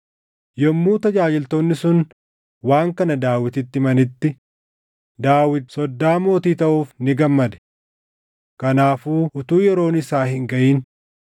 Yommuu tajaajiltoonni sun waan kana Daawititti himanitti, Daawit soddaa mootii taʼuuf ni gammade. Kanaafuu utuu yeroon isaa hin gaʼin,